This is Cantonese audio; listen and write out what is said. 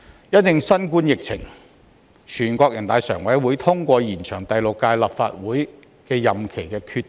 因應新冠疫情，全國人民代表大會常務委員會通過延長第六屆立法會任期的決定。